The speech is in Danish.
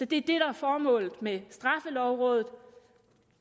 det der er formålet med straffelovrådet